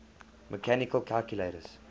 mechanical calculators